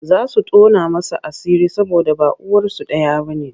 Za su tona masa asiri saboda ba uwarsu ɗaya ba.